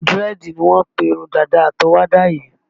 Dírẹ́ẹ̀dì ni wọ́n ń pe irun dàda àtọwọ́dá yii